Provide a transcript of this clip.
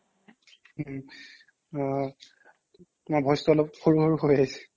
উম্ অ তোমাৰ voice টো অলপ সৰু সৰু হৈ আহিছে